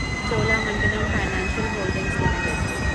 Cholamandalam financial holdings limited